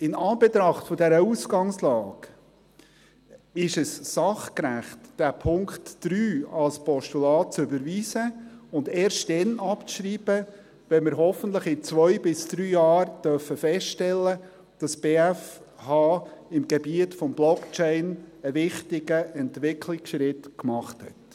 In Anbetracht dieser Ausgangslage ist es sachgerecht, diesen Punkt 3 als Postulat zu überweisen und erst dann abzuschreiben, wenn wir hoffentlich in zwei bis drei Jahren feststellen dürfen, dass die BFH auf dem Gebiet von Blockchain einen wichtigen Entwicklungsschritt gemacht hat.